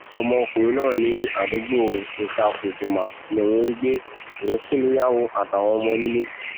ọmọkùnrin náà ní àdúgbò itàkuldumah lòún ń gbé òun sí níyàwó àtàwọn ọmọ nílé